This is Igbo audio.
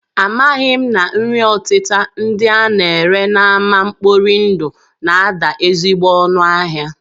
Amaghị m na nri ọtịta ndị a na-ere n'ámá mkpori ndụ na-ada ezigbo ọnụ ahịa